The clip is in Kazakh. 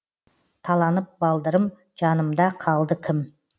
таланып балдырым жанымда қалды кім